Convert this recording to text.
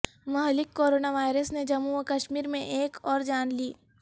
مہلک corona virus نے جموں و کشمیر میں ایک اور جان لی